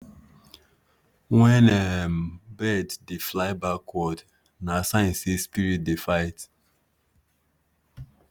when um bird dey fly backward na sign say spirit dey fight.